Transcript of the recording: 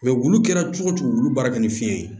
wulu kɛra cogo cogo wulu baara ka ni fiɲɛ ye